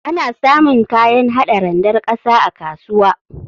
Ana samun kayan hada randar ƙasa a kasuwa.